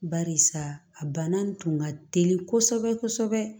Barisa a bana nin tun ka teli kosɛbɛ kosɛbɛ